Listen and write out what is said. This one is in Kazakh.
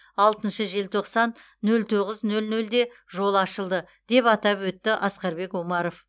алтыншы желтоқсан нөл тоғыз нөл нөлде жол ашылды деп атап өтті асқарбек омаров